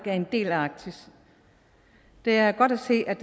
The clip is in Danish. er en del af i arktis det er godt at se at